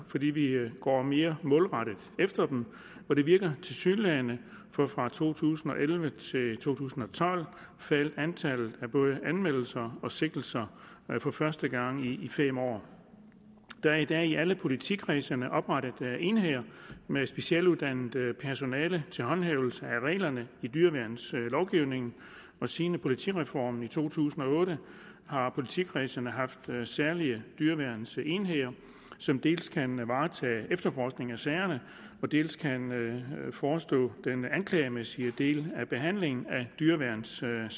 fordi vi går mere målrettet efter dem og det virker tilsyneladende for fra to tusind og elleve til to tusind og tolv faldt antallet af både anmeldelser og sigtelser for første gang i fem år der er i dag i alle politikredsene oprettet enheder med specialuddannet personale til håndhævelse af reglerne i dyreværnslovgivningen siden politireformen i to tusind og otte har politikredsene haft særlige dyreværnsenheder som dels kan varetage efterforskningen af sagerne og dels kan forestå den anklagemæssige del af behandlingen af dyreværnssagerne